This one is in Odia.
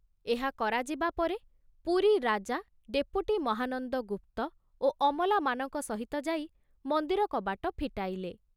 ଏହା କରାଯିବା ପରେ ପୁରୀ ରାଜା ଡେପୁଟି ମହାନନ୍ଦ ଗୁପ୍ତ ଓ ଅମଲାମାନଙ୍କ ସହିତ ଯାଇ ମନ୍ଦିର କବାଟ ଫିଟାଇଲେ।